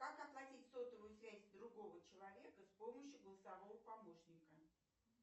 как оплатить сотовую связь другого человека с помощью голосового помощника